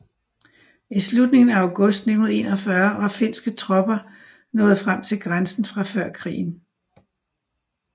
I slutningen af august 1941 var finske tropper nået frem til grænsen fra før krigen